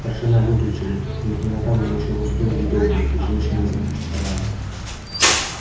старшина выключил их но темнота была ещё густой и недоброй и женщины запротестовали